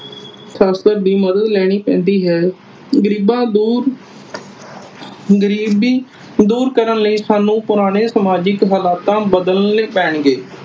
ਸ਼ਾਸਤਰ ਦੀ ਮਦਦ ਲੈਣੀ ਪੈਂਦੀ ਹੈ। ਗਰੀਬਾਂ ਤੋਂ ਗਰੀਬੀ ਦੂਰ ਕਰਨ ਲਈ ਸਾਨੂੰ ਪੁਰਾਣੇ ਸਮਾਜਿਕ ਹਾਲਾਤਾਂ ਬਦਲਣੇ ਪੈਣਗੇ।